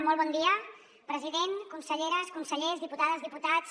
molt bon dia president conselleres consellers diputades diputats